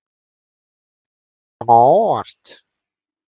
Er þetta eitthvað sem kom á óvart?